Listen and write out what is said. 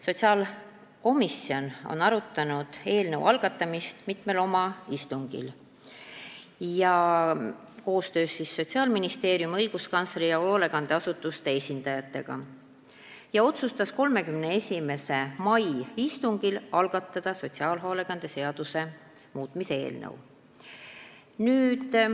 Sotsiaalkomisjon on eelnõu algatamist arutanud mitmel oma istungil, koostöös Sotsiaalministeeriumi, õiguskantsleri ja hoolekandeasutuste esindajatega, ja 31. mai istungil otsustas algatada sotsiaalhoolekande seaduse muutmise seaduse eelnõu.